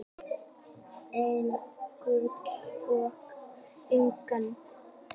En gul og ekki gul.